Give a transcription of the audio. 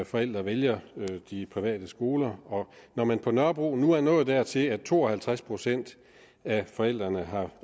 forældre vælger de private skoler når man på nørrebro nu er nået dertil at to og halvtreds procent af forældrene har